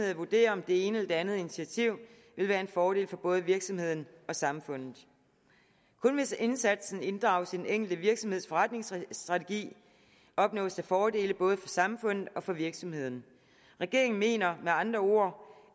at vurdere om det ene eller det andet initiativ vil være en fordel for både virksomheden og samfundet kun hvis indsatsen inddrages i den enkelte virksomheds forretningsstrategi opnås der fordele både for samfundet og for virksomheden regeringen mener med andre ord